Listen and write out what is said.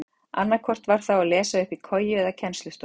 Annaðhvort var þá að lesa uppi í koju eða í kennslustofu.